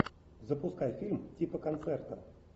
запускай фильм типа концерта